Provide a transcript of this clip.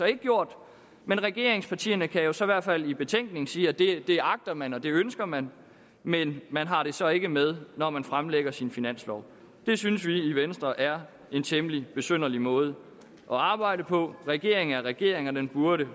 ikke gjort men regeringspartierne kan jo så i hvert fald i betænkningen sige at det det agter man og det ønsker man men man har det så ikke med når man fremlægger sin finanslov det synes vi i venstre er en temmelig besynderlig måde at arbejde på regeringen er en regering og den burde